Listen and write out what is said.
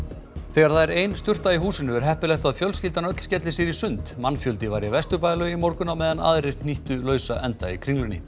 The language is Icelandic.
þegar það er ein sturta í húsinu er heppilegt að fjölskyldan öll skelli sér í sund mannfjöldi var í Vesturbæjarlauginni í morgun á meðan aðrir hnýttu lausa enda í Kringlunni